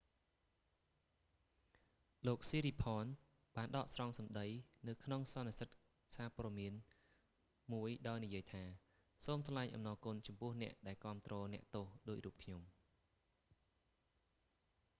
"លោក ស៊ីរីផនsiriporn បានដកស្រង់សម្តី​នៅក្នុង​សន្និសីទ​សារព័ត៌​មានមួយដោយនិយាយថា សូមថ្លែងអំណរ​គុណចំពោះ​អ្នក​ដែល​គាំទ្រ​អ្នកទោស​ដូចរូបខ្ញុំ។